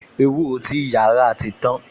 Ewúro ti ìyá rà ti tan